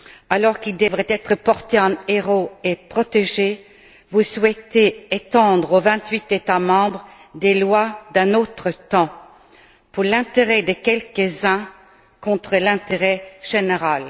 Alors qu'ils devraient être portés en héros et protégés, vous souhaitez étendre aux vingt huit États membres des lois d'un autre temps, dans l'intérêt de quelques uns contre l'intérêt général.